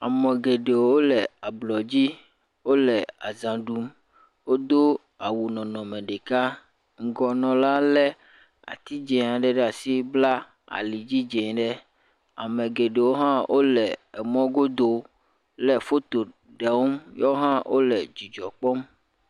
Ame geɖewo le ablɔdzi. Wole azã ɖum. Wodo awu nɔnɔme ɖeka. Ŋgɔnɔla lé ati dzẽ aɖe ɖe asi, b;la alidzi dzẽ ɖe. Ame geɖewo hã wole emɔ̃godo lé foto ɖm. YUewo hã wole dzidzɔ kpɔm.